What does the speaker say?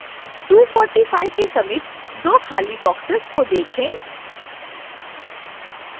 245 के समीप दो खाली boxes को देखें